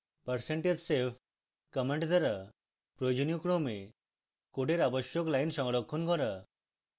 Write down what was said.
percentage save command দ্বারা প্রয়োজনীয় ক্রমে code আবশ্যক lines সংরক্ষণ করা